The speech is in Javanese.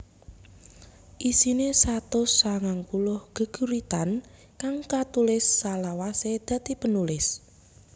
Isine satus sangang puluh geguritan kang katulis salawase dadi penulis